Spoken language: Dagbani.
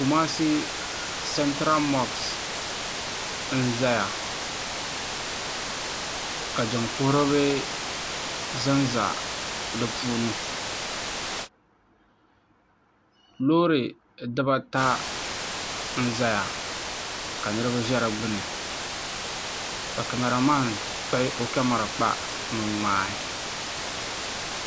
kɔmaasi satɛri moɣisi n zaya ka jin pohiribi zan za di puuni lori dibaata n za n zaya ka niriba ʒɛ di gbani ka kamara mani kpagi o kamara kpa no ŋmɛli